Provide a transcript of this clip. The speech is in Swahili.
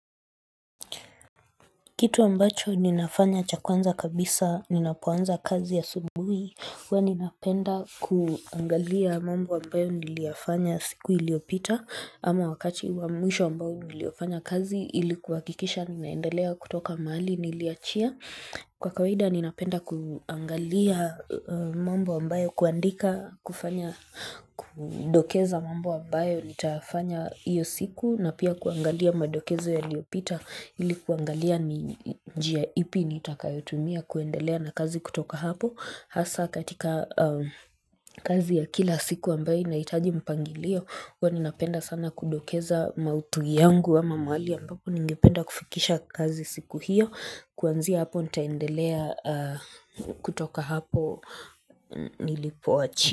Kitu ambacho ninafanya cha kwanza kabisa, ninapoanza kazi asubuhi, huwa ninapenda kuangalia mambo ambayo niliyafanya siku iliyopita, ama wakati wa mwisho ambao niliofanya kazi ili kuhakikisha ninaendelea kutoka mahali niliachia. Kwa kawaida ninapenda kuangalia mambo ambayo kuandika kufanya kudokeza mambo ambayo nitafanya hiyo siku na pia kuangalia madokezo yaliopita ili kuangalia njia ipi nitakayotumia kuendelea na kazi kutoka hapo. Hasa katika kazi ya kila siku ambayo inahitaji mpangilio, huwa ninapenda sana kudokeza maudhui yangu ama mahali ambapo ningependa kufikisha kazi siku hiyo kuanzia hapo nitaendelea kutoka hapo nilipoachia.